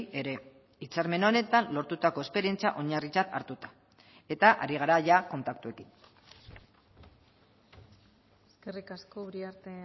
ere hitzarmen honetan lortutako esperientzia oinarritzat hartuta eta ari gara ia kontaktuekin eskerrik asko uriarte